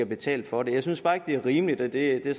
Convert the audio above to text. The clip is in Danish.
betale for det jeg synes bare ikke det er rimeligt og det er